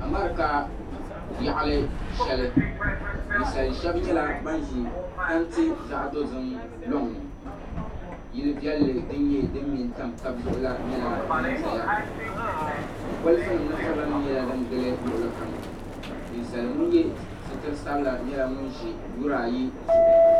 America yaɣili shɛli ninsali shɛba nyɛla ban ʒi tanti zaɣ'dozim lɔŋ ni yili velli din nyɛ din nyɛ din me n-tamtam taba zuɣu la nyɛla sin zaya ka bolifunima ni furilanima gili luɣili kam ninsali ŋun ye sitiri sabila nyɛla ŋun ʒi Yuri ayi zuɣu.